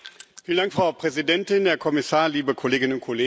Frau Präsidentin, Herr Kommissar, liebe Kolleginnen und Kollegen!